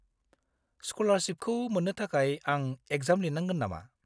स्क'लारशिपखौ मोन्नो थाखाय आं एक्जाम लिरनांगोन नामा?